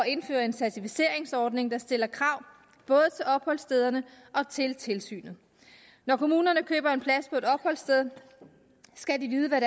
indføre en certificeringsordning der stiller krav både til opholdsstederne og til tilsynet når kommunerne køber en plads på et opholdssted skal de vide hvad